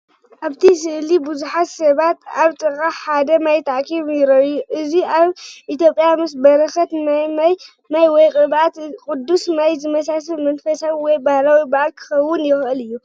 ኣብቲ ስእሊ ብዙሓት ሰባት ኣብ ጥቓ ሓደ ማይ ተኣኪቦም ይረኣዩ። እዚ ኣብ ኢትዮጵያ ምስ በረኸት ማይ ወይ ቅብኣት ቅዱስ ማይ ዝመሳሰል መንፈሳዊ ወይ ባህላዊ በዓል ክኸውን ይኽእል እዩ።